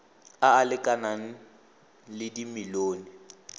a a lekanang le dimilione